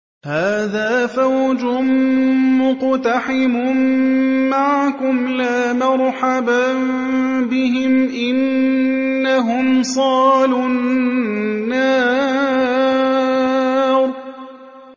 هَٰذَا فَوْجٌ مُّقْتَحِمٌ مَّعَكُمْ ۖ لَا مَرْحَبًا بِهِمْ ۚ إِنَّهُمْ صَالُو النَّارِ